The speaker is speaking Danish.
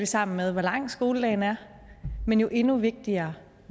sammen med hvor lang skoledagen er men jo endnu vigtigere